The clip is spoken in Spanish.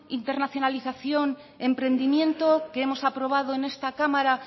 internacionalización emprendimiento que hemos aprobado en esta cámara